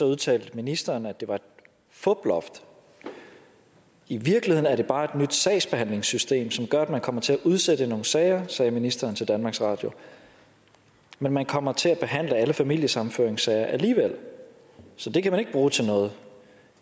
udtalte ministeren at det var et fuploft i virkeligheden er det bare et nyt sagsbehandlingssystem som gør at man kommer til at udsætte nogle sager sagde ministeren til danmarks radio men man kommer til at behandle alle familiesammenføringssager alligevel så det kan man ikke bruge til noget